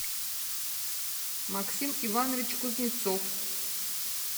максим иванович кузнецов